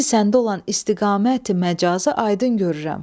İndi səndə olan istiğaməti-məcazı aydın görürəm.